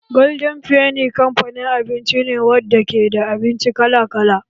Golden feni kamfanin abinci ne wadda ke da abinci kala kala